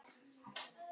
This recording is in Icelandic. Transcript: Og enn er spurt.